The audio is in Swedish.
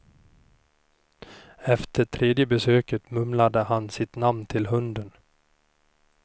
Efter tredje besöket mumlade han sitt namn till hunden.